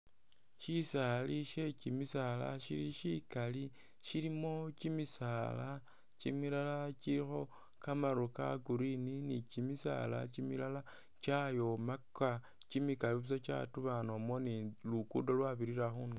Shisaali she kyimisaala shili shikali shilimo kyimisaala kyimilalakyilikho kamaru ka green ni kyimisaala kyimilala kyayomaka kyimikali busa kyadubanomo ni lukudo lwabirila khundulo